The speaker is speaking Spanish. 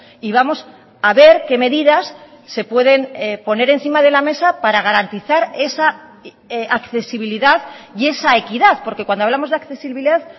y vamos a ver qué medidas se pueden poner encima de la mesa para garantizar esa accesibilidad y esa equidad porque cuando hablamos de accesibilidad